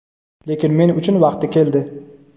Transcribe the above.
Lekin men uchun vaqti keldi.